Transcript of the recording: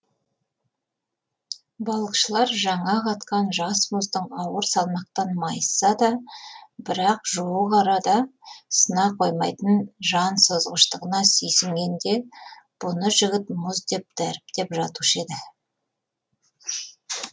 балықшылар жаңа қатқан жас мұздың ауыр салмақтан майысса да бірақ жуық арада сына қоймайтын жан созғыштығына сүйсінгенде бұны жігіт мұз деп дәріптеп жатушы еді